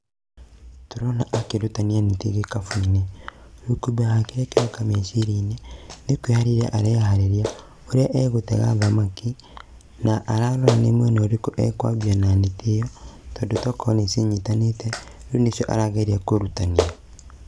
Tũrona akĩrutania neti gĩkabũ-inĩ, kĩroka meciria-inĩ, nĩ kwĩharĩria areharĩria, ũrĩa agũtega thamaki, na ararorania mwena ũrĩkũ ekwambia na neti ĩyo, tondũ tokorwo nĩ cinyitanĩte, rĩu nĩcio arageria kũrutania.